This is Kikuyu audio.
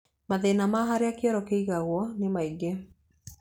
Mathĩna ma harĩa kĩoro kĩigagwo nĩ maingĩ.